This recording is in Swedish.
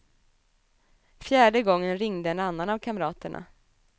Fjärde gången ringde en annan av kamraterna.